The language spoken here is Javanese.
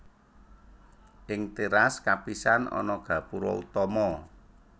Ing téras kapisan ana gapura utama